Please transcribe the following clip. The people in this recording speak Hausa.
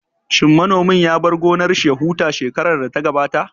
Shin manomin ya bar gonar shi ya huta shekarar da ta gabata?